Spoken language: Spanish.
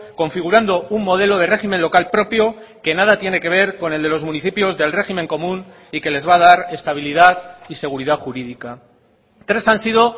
configurando un modelo de régimen local propio que nada tiene que ver con el de los municipios del régimen común y que les va a dar estabilidad y seguridad jurídica tres han sido